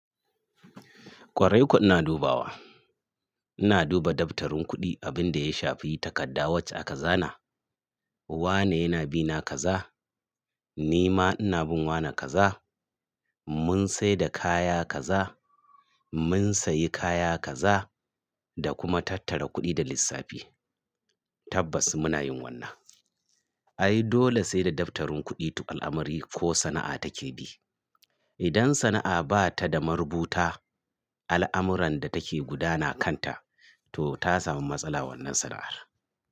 Kwarai kuwa ina dubawa. Ina duba daftarin kuɗi abin da ya shafi takadda wacce aka zana. Wa ne yana bina kaza, ni ma ina bin wa ne kaza. Mun saida kaya kaza, mun sayi kaya kaza da kuma tattara kuɗi da lissafi. Tabbas muna yin wannan. Ai dole saida daftarin kuɗi al'amari ko sana'a take bi. Idan sana'a ba ta da marubuta al'amuran da take gudana kanta to ta samu matsala wannan sana'ar.